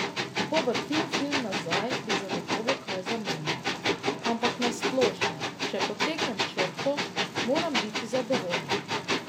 Ko vrtim film nazaj, bi zagotovo kaj zamenjal, ampak na splošno, če potegnem črto, moram biti zadovoljen.